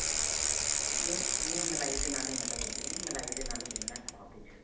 ਨਹੀਂ, ਨਹੀਂ ਮਲਾਈ ਦੇ ਨਾਲ ਹੀ ਮੈਂ ਤਾਂ ਗੁੰਨਦੀ ਹੈ ਜੀ ਮਲਾਈ ਦੇ ਨਾਲ ਹੀ ਗੂਣਨਾ ਆਪਾਂ ਓਹਦੇ 'ਚ .